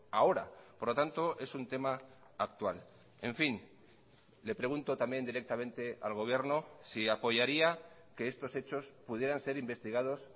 ahora por lo tanto es un tema actual en fin le pregunto también directamente al gobierno si apoyaría que estos hechos pudieran ser investigados